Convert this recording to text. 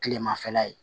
Kilemafɛla ye